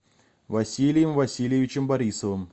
василием васильевичем борисовым